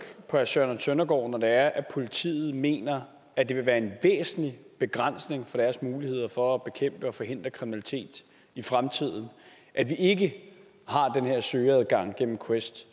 herre søren søndergaard når det er at politiet mener at det vil være en væsentlig begrænsning for deres muligheder for at bekæmpe og forhindre kriminalitet i fremtiden at vi ikke har den her søgeadgang gennem quest